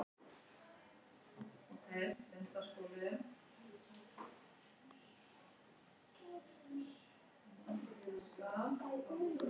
Lúlli naut þess að láta bekkjarsystkini sín sjá hvað heimili hans var glæsilegt.